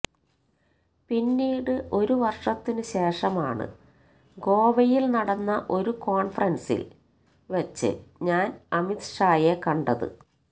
പിന്നീട് ഒരു വര്ഷത്തിന് ശേഷമാണ് ഗോവയില് നടന്ന ഒരു കോണ്ഫറന്സില് വച്ച് ഞാന് അമിത് ഷായെ കണ്ടത്